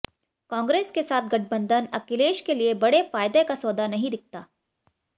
कांग्रेस के साथ गठबंधन अखिलेश के लिए बड़े फायदे का सौदा नहीं दिखता